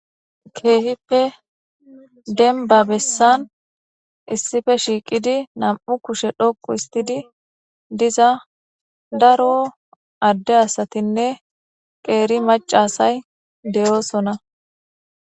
keehippe denba bessan issife shiiqidi nam7u kushe dhoqu istidi diza daro adde asatinne qeeri macasay deyoosona